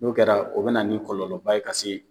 N'o kɛra o bɛ na nin kɔlɔlɔba ye ka se.